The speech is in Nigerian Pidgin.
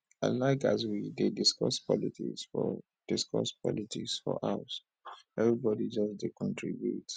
i like as we dey discuss politics for discuss politics for house everybodi go just dey contribute